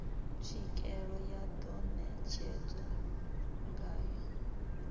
tswikeelo ya ḓo netshedzwa ngayo